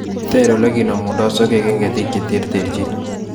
Ter olekinemundoi sokek eng ketik che terterchin